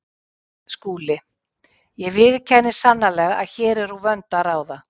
SKÚLI: Ég viðurkenni sannarlega að hér er úr vöndu að ráða.